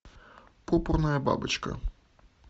пурпурная бабочка